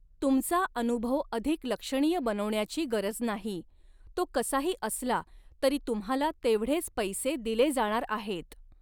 तुमचा अऩुभव अधिक लक्षणीय बनवण्याची गरज नाही, तो कसाही असला तरी तुम्हाला तेवढेच पैसे दिले जाणार आहेत.